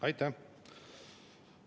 Aitäh!